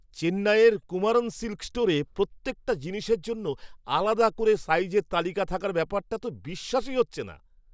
চেন্নাইয়ের কুমারন সিল্ক স্টোরে প্রত্যেকটা জিনিসের জন্য আলাদা করে সাইজের তালিকা থাকার ব্যাপারটা তো বিশ্বাসই হচ্ছে না!